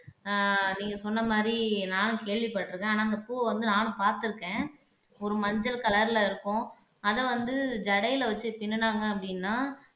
ஆஹ் நீங்க சொன்ன மாதிரி நானும் கேள்விப்பட்டிருக்கேன் ஆனா இந்த பூவ வந்து நானும் பாத்துருக்கேன் ஒரு மஞ்சள் கலர்ல இருக்கும் அத வந்து ஜடைல வச்சி பின்னுனாங்க அப்படின்னா